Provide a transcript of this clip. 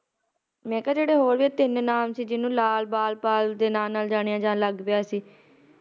ਮਈ ਕਿਹਾ ਜਿਹੜੇ ਇਹ ਹੋਰ ਵੀ ਤਿੰਨ ਨਾਮ ਸੀ ਜਿਹਨਾਂ ਨੂੰ ਲਾਲ ਬਾਲ ਪਾਲ ਦੇ ਨਾਮ ਨਾਲ ਜਾਣਿਆ ਲੱਗ ਪਿਆ ਸੀ